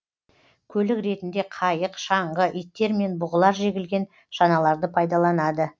көлік ретінде қайық шаңғы иттер мен бұғылар жегілген шаналарды пайдаланады